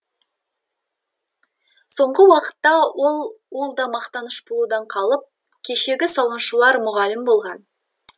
соңғы уақытта ол ол да мақтаныш болудан қалып кешегі сауыншылар мұғалім болған